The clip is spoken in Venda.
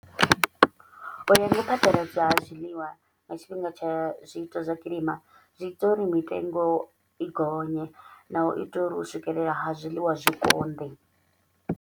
U ya nga dza zwiḽiwa nga tshifhinga tsha zwiito zwa kilima, zwi ita uri mitengo i gonye na u itela uri u swikelela ha zwiḽiwa zwi konḓe.